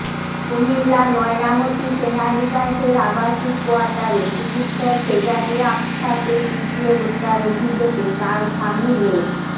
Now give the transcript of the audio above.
কুমিল্লার ময়নামতি সেনানিবাসের আবাসিক কোয়ার্টারে চিকিৎসক শেজাদী আপসাকে পিটিয়ে হত্যার অভিযোগে তাঁর স্বামী লে